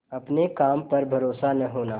अपने काम पर भरोसा न होना